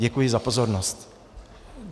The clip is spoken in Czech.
Děkuji za pozornost.